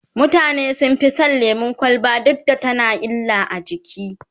mutane sun Fi San lemun kwalba duk da tana da illa a jiki